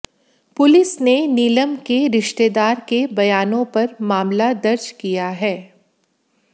police ने नीलम के रिश्तेदार के बयानों पर मामला दर्ज किया है